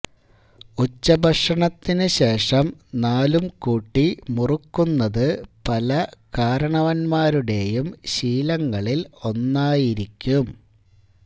ഉച്ചഭക്ഷണത്തിന് ശേഷം നാലും കൂട്ടി മുറുക്കുന്നത് പല കാരണവന്മാരുടേയും ശീലങ്ങളില് ഒന്നായിരിക്കും